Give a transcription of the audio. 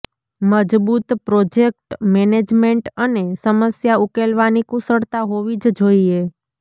મજબૂત project management અને સમસ્યા ઉકેલવાની કુશળતા હોવી જ જોઈએ